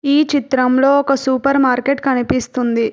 ఈ చిత్రం లో సూపెర్మర్కెట్ కనిపిస్తుంది.